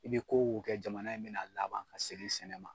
I be ko ko kɛ jamana in be na laban ka segin sɛnɛ ma